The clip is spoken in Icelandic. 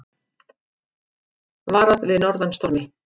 Varað við norðan stormi